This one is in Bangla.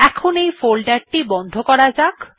এখন এই ফোল্ডার টি বন্ধ করা যাক